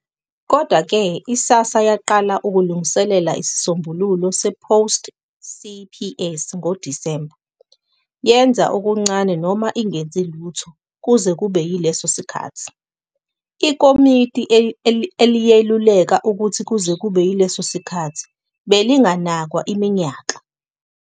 Kodwa-ke, i-SASSA yaqala ukulungiselela isisombululo se-post-CPS ngoDisemba, "yenza okuncane noma ingenzi lutho kuze kube yileso sikhathi", ikomiti eliyeluleka ukuthi kuze kube yileso sikhathi belinganakwa iminyaka.